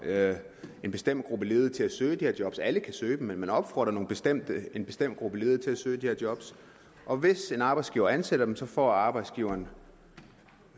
en bestemt gruppe ledige til at søge de her job alle kan søge dem men man opfordrer en bestemt en bestemt gruppe ledige til at søge de her job og hvis en arbejdsgiver ansætter dem får arbejdsgiveren